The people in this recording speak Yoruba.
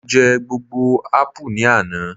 mo je gbogbo apu ni Ana